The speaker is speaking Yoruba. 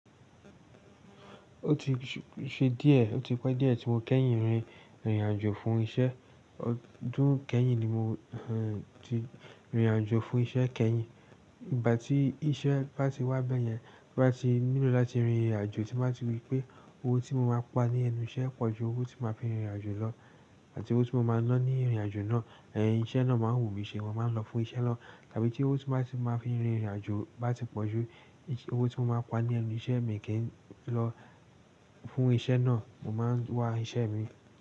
Ó ti ṣe díẹ̀, ó ti pẹ́ díẹ̀ tí mo kẹ́yìn rìn rìn àjò fún iṣẹ́. Ọdún kẹ́rìn ni mo ti rìn rìn àjò fún iṣẹ́ kẹ́yìn. Ìgbà tí iṣẹ́ bá ti wá bẹ́yẹn, bá ti nílò láti rìn rìn àjò, tí mo bá ti rípé owó tí mo máa pa ní ẹnu iṣẹ́ pọ̀ ju owó tí máa fi rìn rìn àjò lọ àti owó tí mo máa ń ná ní ìrìnàjò náà, ẹ̀, iṣẹ́ náà máa ń wùmí ṣe, mo máa ń lọ fún iṣẹ́ lọ. Tàbí tí owó tí mo bá ti máa fi rìn irin àjò bá ti pọ̀ ju owó tí mo máa pa ní ẹnu iṣẹ́ mi kí n lọ fún iṣẹ́ náà, mo máa ń wá iṣẹ́ mii.